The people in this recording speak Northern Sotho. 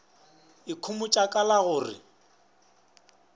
ikhomotša ka la go re